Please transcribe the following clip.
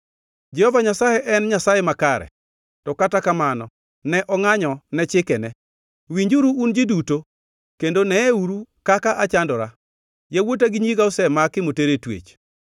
Jehova Nyasaye en Nyasaye makare, to kata kamano ne angʼanyo ne chikene. Winjuru, un ji duto; kendo neeuru kaka achandora. Yawuota gi nyiga osemaki moter e twech.